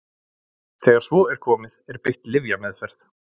þegar svo er komið er beitt lyfjameðferð